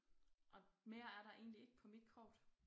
Og mere er der egentlig ikke på mit kort